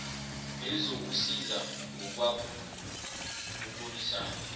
elizokusiza ngokwakho ukulwisana